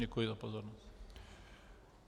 Děkuji za pozornost.